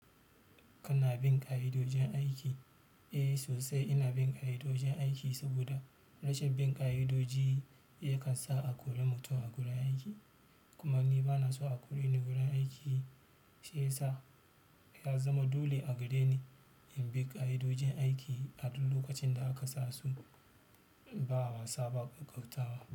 Kana bin ƙa'idojin aiki? Eh sosai ina bin ƙa'idojin aiki, saboda rashin bin ƙa'idoji yakan sa a kori mutum a gurin aiki. Kuma ni bana so a kore ni gurin aiki shi yasa ya zama dole a gare ni in bi ƙa'idojin aiki a duk lokacin da aka sa su ba a wasa ba ƙaƙautawa.